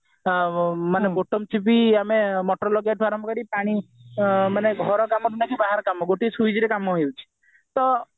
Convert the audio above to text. ହଁ ମାନେ ଠୁ ବି ଆମେ motor ଲୋଗେଇବା ଠୁ ଆରମ୍ଭ କରି ପାଣି ମାନେ ଘର କାମ ହଉ କି ବାହାର କାମ ଗୋଟେ switch ରେ କାମ ହେଇଯାଉଛି ତ